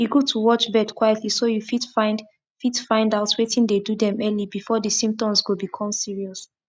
e good to watch bird quietly so you fit find fit find out wetin dey do them early before the symptoms go become serious